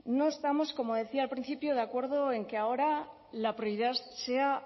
no estamos como decía al principio de acuerdo en que ahora la prioridad sea